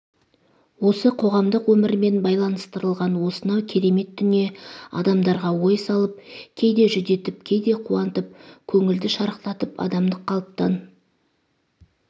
осы қоғамдық өмірмен байланыстырылған осынау керемет дүние адамдарға ой салып кейде жүдетіп кейде қуантып көңілді шарықтатып адамдық қалыптан